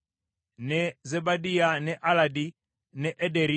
ne Zebadiya, ne Aladi, ne Ederi